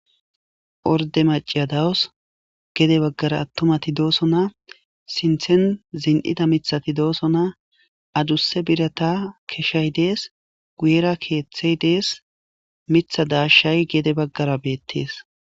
Orde maciyadawos gede baggara attumati dooso na sinthen zin'ida mithati dooso na adusse birata keshshay dees guyera keeththey dees mitha daashay gede baggara beettees